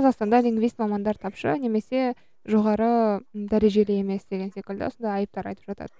қазақстанда лингвист мамандар тапшы немесе жоғары дәрежеде емес деген секілді сондай айыптар айтып жатады